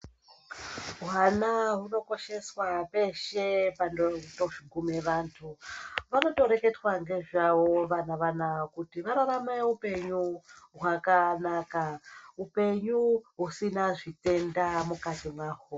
Hwana hunokosheswa peshe panoguma vantu panotoreketwa nezvavo vana vanawa kuti vararame upenyu hwakanaka upenyu usina zvitenda mukati mahwo.